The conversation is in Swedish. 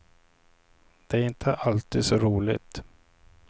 Det är inte alltid så roligt.